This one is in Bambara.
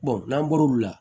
n'an bɔr'o la